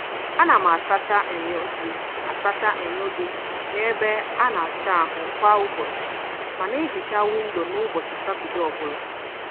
A na m asacha enyo dị asacha enyo dị na-ebe a na-asa ahụ kwa ụbọchị, ma na ehicha windo n'ụbọchị Satọdee ọbụla.